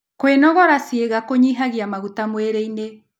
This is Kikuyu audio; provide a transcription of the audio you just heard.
Kwĩnogora ciĩga kũnyĩhagĩa magũta mwĩrĩĩnĩ